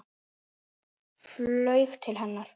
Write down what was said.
Flaug til hennar.